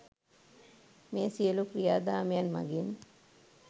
මේ සියලු ක්‍රියාදාමයන් මඟින්